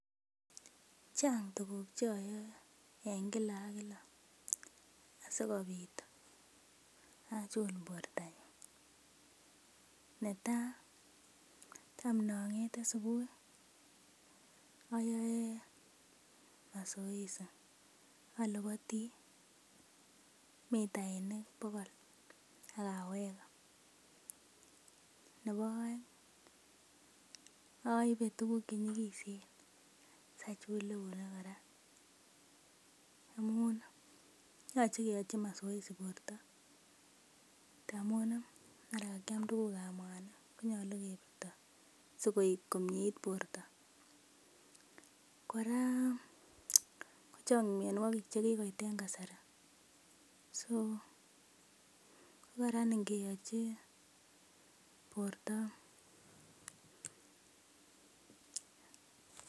Chang' tuguk choyoe en kila ak kila asikobit achuk bortonyun, netaa tam nong'ete subui ayoe mazoezi alobotii mitainik bokol ak awege nebo oeng oibe tuguk chenyigisen sachul eunek kora amun yoche keyochi mazoezi borto ndamun ih mara kakiam tuguk ab mwanik konyolu kebirto sikoik komeit borto kora kochang' mionwogik chekikoit kasari so kokaran ngeyochi borto.